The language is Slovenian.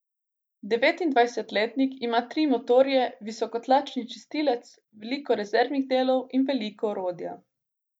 Devetindvajsetletnik ima tri motorje, visokotlačni čistilec, veliko rezervnih delov in veliko orodja.